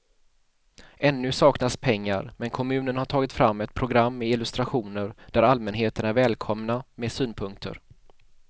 Ännu saknas pengar men kommunen har tagit fram ett program med illustrationer där allmänheten är välkomna med synpunkter.